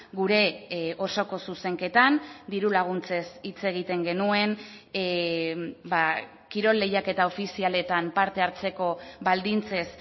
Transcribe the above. gure osoko zuzenketan diru laguntzez hitz egiten genuen kirol lehiaketa ofizialetan parte hartzeko baldintzez